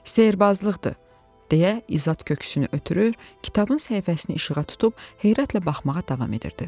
Sehirbazlıqdır deyə İzot köksünü ötürür, kitabın səhifəsini işığa tutub heyrətlə baxmağa davam edirdi.